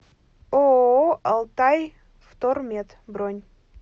ооо алтайвтормет бронь